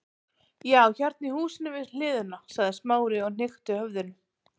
Já, hérna í húsinu við hliðina- sagði Smári og hnykkti höfðinu.